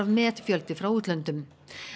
metfjöldi frá útlöndum